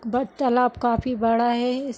but तालाब काफी बड़ा है इस --